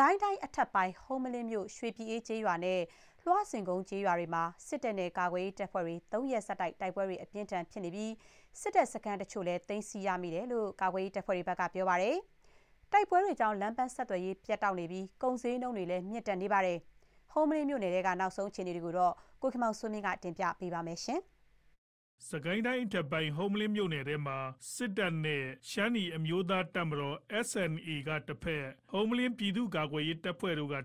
ကိုင်းတိုင်းအထက်ပိုင်း ဟုမ္မလင်းမြို့ ရွှေပြည်အေးကျေးရွာနဲ့ လွှစင်ကုန်းကျေးရွာတို့မှာ စစ်တပ်နဲ့ကာကွယ်ရေးတပ်ဖွဲ့တွေ ၃ ရက်ဆက်တိုက် တိုက်ပွဲတွေအပြင်းအထန် ဖြစ်နေပြီး စစ်တပ် စခန်းအချို့လည်း သိမ်းဆည်းရမိတယ်လို့ ကာကွယ်ရေးတပ်ဖွဲ့တွေက ပြောပါတယ်။ တိုက်ပွဲတွေကြောင့် လမ်းပန်းဆက်သွယ်ရေး ပြတ်တောက်နေပြီး ကုန်ဈေးနှုန်းတွေလည်း မြင့်တက်နေပါတယ်။ ဟုမ္မလင်းမြို့နယ်ထဲက အခြေအနေ သတင်းပေးပို့ချက်ကို ကိုခင်မောင်စိုးမင်းက တင်ပြပေးထားပါတယ်။ ဟုမ္မလင်းမြို့နယ်ထဲမှာ စစ်တပ်၊ ရှမ်းနီအမျိုးသားများ တပ်မတော် နဲ့ ဟုမ္မလင်း ပြည်သူ့ကာကွယ်ရေးတပ်ဖွဲ့တို့ဟာ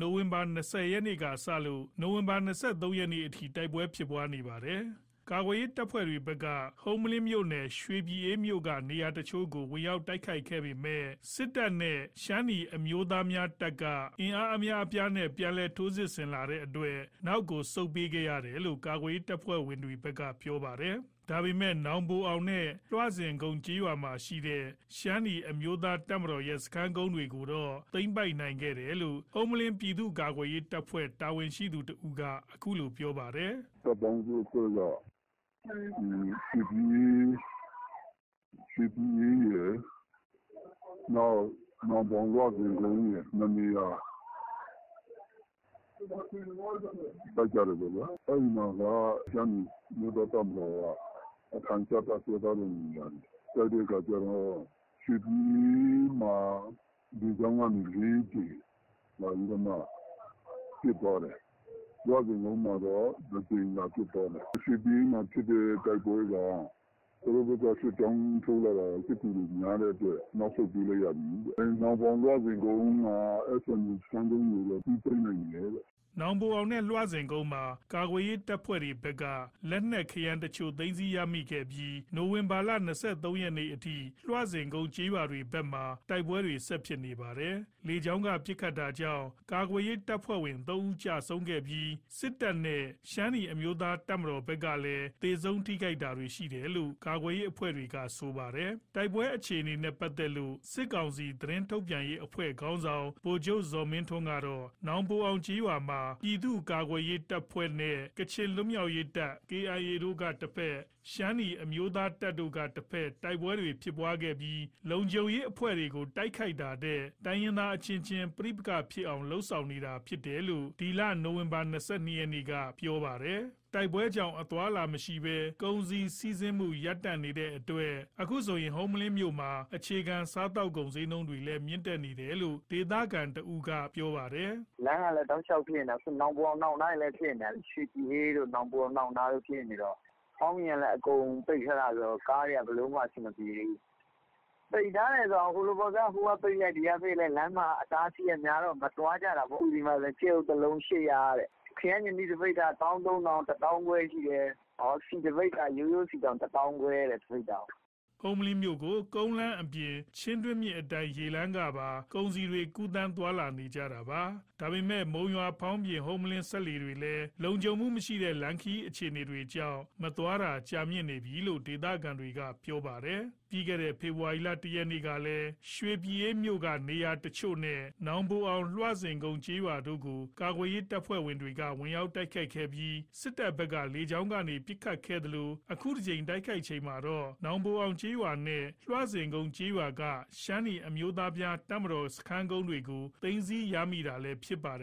နိုဝင်ဘာ ၂၀ ရက်နေ့ကစလို့ နိုဝင်ဘာ ၂၃ ရက်အထိ တိုက်ပွဲတွေဖြစ်နေတာပါ။ ကာကွယ်ရေး တပ်ဖွဲ့တွေဘက်က ဟုမ္မလင်းမြို့နယ် ရွှေပြည်အေးမြို့က နေရာအချို့ကို ဝင်ရောက်တိုက်ခိုက်ခဲ့ပေမယ် စစ်တပ်နဲ့ ရှမ်းနီအမျိုးသားများတပ်က အင်အားအများအပြားနဲ့ ထိုးစစ်ဆင်လာတဲ့အတွက် နောက်ဆုတ်ပေးခဲ့ရတယ်လို့ ကာကွယ်ရေးတပ်ဖွဲ့တွေဘက်က ပြောပါတယ်။ ဒါပေမယ့် နောင်ပိုင်အောင်နဲ့ လွှစင်ကုန်းကျေးရွာမှာ ရှိတဲ့ ရှမ်းနီအမျိုးသားတပ်မတော်ရဲ့ စခန်းကုန်းတွေကိုတော့သိမ်းပိုက်နိုင်ခဲ့တယ်လို့ ဟုမ္မလင်း ပြည်သူ့ကာကွယ်ရေး တပ်ဖွဲ့ တာဝန်ရှိသူ တဦးက အခုလို ပြောပါတယ်။ “တပ်ပေါင်းစုအဖွဲ့က ရွှေပြည်အေးရယ်၊ နောင်ပိုအောင်၊ လွှစင်ကုန်းရယ် ၂ နေရာကို တိုက်ကြတယ်ပေါ့ဗျာ။ အဲ့မှာက ရှမ်းနီအမျိုးသား တပ်မတော်က အထိုင်ချတပ်စွဲထားတဲ့နေရာတွေ၊ တိုက်တဲ့အခါကျတော့ ရွှေပြည်အေးမှာက လေကြောင်းကနေ ၄ ကြိမ် လာပြီးတော့ပစ်သွားတယ်။ လွှစင်ကုန်းမှာက တကြိမ်လာပစ်သွားတယ်။ ရွှေပြည်အေးမှာ ဖြစ်တဲ့တိုက်ပွဲက သူတို့ဘက် စစ်ကြောင်းထိုးတာ စစ်ကူတွေများတဲ့အတွက် နောက်ဆုတ်ပေးလိုက်ရတယ်။ နောင်ပိုအောင်၊ လွှစင်ကုန်း ရှမ်းနီအမျိုးသား တပ်မတော်စခန်းကုန်းကိုတော့ အပြီးသိမ်းလိုက်နိုင်တယ်။” နောင်ပိုအောင်နဲ့ လွှစင်ကုန်းမှာ ကာကွယ်ရေးတပ်ဖွဲ့တွေဘက်က လက်နက်ခဲယမ်းအချို့ သိမ်းဆည်းရမိခဲ့ပြီး နိုဝင်ဘာ ၂၃ ရက်အထိ လွှစင်ကုန်းကျေးရွာတွေဘက်မှာ တိုက်ပွဲတွေ ဆက်ဖြစ်နေပါတယ်။ လေကြောင်းကပစ်ခတ်တာကြောင့် ကာကွယ်ရေးတပ်ဖွဲ့ဝင် ၃ ဦး ကျဆုံးခဲ့ပြီး စစ်တပ်နဲ့ရှမ်းနီအမျိုးသား တပ်မတော်ဘက်ကလည်း သေဆုံးထိခိုက်တာတွေရှိတယ်လို့ ကာကွယ်ရေးအဖွဲ့တွေက ဆိုပါတယ်။ တိုက်ပွဲအခြေအနေနဲ့ ပတ်သက်လို့ စစ်ကောင်စီ သတင်းထုတ်ပြန်ရေး အဖွဲ့ခေါင်းဆောင် ဗိုလ်ချုပ်ဇော်မင်းထွန်း ကတော့ နောင်ပိုအောင်ကျေးရွာမှာ ပြည်သူ့ကာကွယ်ရေးအဖွဲ့ ကချင်လွတ်မြောက်ရေးတပ် နဲ့ ရှမ်းနီအမျိုးသားတပ်တို့တိုက်ပွဲဖြစ်ခဲ့ပြီး လုံခြုံရေးအဖွဲ့တွေကို တိုက်ခိုက်တာထက် တိုင်ရင်းသား အချင်းချင်း ပဋိပက္ခဖြစ်အောင် လုပ်ဆောင်နေတာဖြစ်တယ်လို့ နိုဝင်ဘာ ၂၂ ရက်က ပြောထားပါတယ်။ တိုက်ပွဲတွေကြောင့် အသွားအလာမရှိဘဲ ကုန်စည်စီးဆင်းမှု ရပ်တန့်နေတဲ့အတွက် အခုဆို ဟုမ္မလင်းမြို့မှာ အခြေခံစားသောက်ကုန် ဈေးနှုန်းတွေလည်း မြင့်တက်နေတယ်လို့ ဒေသခံတဦးက အခုလို ပြောပါတယ်။ “လမ်းက တောက်လျှောက်ဖြစ်နေတာ။ အခုနောင်ပိုအောင် အနောက်နားတွေလည်း ဖြစ်နေတာ။ ရွှေပြည်အေးတို့ နောင်ပိုအောင် အနောက်နားတွေဖြစ်နေတော့ ဖောင်းပြင်ကလည်း အကုန်ပိတ်ထားတာဆိုတော့ ကားတွေက ဘယ်လိုမှ အဆင်မပြေသေးဘူး။ ပိတ်ထားတယ်ဆိုတာ ဟိုကပိတ်လိုက် ဒီကပိတ်လိုက် လမ်းမှာလည်း အတားအဆီးများတော့ မသွားကြတာပေါ့။ အခုဒီမှာ ကြက်ဥ ၁ လုံး ၈၀၀ ခရမ်းချဉ်သီး ၁ ပိသာ ၁၃၀၀၀ ၁၅၀၀၀ ဆီတပိသာ ရိုးရိုးဆီတောင် ၁ ပိသာ ၁၅၀၀၀” ဟုမ္မလင်းမြို့ကို ကုန်းလမ်းအပြင် ချင်းတွင်းမြစ်အတိုင်း ရေလမ်းကနေပါ ကုန်စည်တွေ ကူးသန်း သွားလာကြတာပါ။ ဒါပေမယ့် မုံရွာ-ဖောင်းပြင်- ဟုမ္မလင်း စက်လှေတွေလည်း လုံခြုံမှုမရှိတဲ့ လမ်းခရီးအခြေအနေတွေကြောင့် မသွားလာတာ ကြာမြင့်နေပြီလို့ ဒေသခံတွေက ပြောပါတယ်။ ပြီးခဲ့တဲ့ ဖေဖော်ဝါရီလ တရက်ကလည်း ရွှေပြည်အေးမြို့က နေရာအချို့နဲ့ နောင်ပိုအောင်၊ လွှစင်ကုန်း ကျေးရွာတို့ကို ကာကွယ်ရေးတပ်ဖွဲ့တွေက ဝင်ရောက်တိုက်ခိုက်ခဲ့ပြီး စစ်တပ်ဘက်က လေကြောင်းကနေပစ်ခတ်ခဲ့သလို အခုတကြိမ်တိုက်ခိုက်ချိန်မှာတော့ နောင်ပိုအောင်ကျေးရွာနဲ့ လွှစင်ကုန်း ကျေးရွာက ရှမ်းနီအမျိုးသားများ တပ်မတော်စခန်းကုန်းတွေကို သိမ်းဆည်းရမိတာလည်း ဖြစ်ပါတယ်